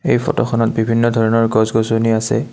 এই ফটোখনত বিভিন্ন ধৰণৰ গছ-গছনি আছে।